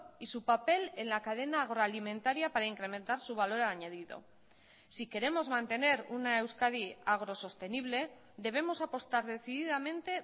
y su papel en la cadena agroalimentaria para incrementar su valor añadido si queremos mantener una euskadi agrosostenible debemos apostar decididamente